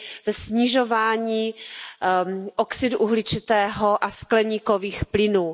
ve snižování oxidu uhličitého a skleníkových plynů.